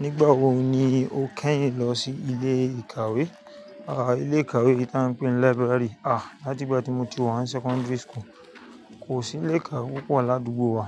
Nígbà wo ni o kẹ́yìn lọ sí ilé ìkàwé? À, ilé ìkàwé tí a ń pè ní library. À, láti ìgbà tí mo ti wá ní secondary school, kò sí ilé ìkàwé púpọ̀ ládùúgbò wa,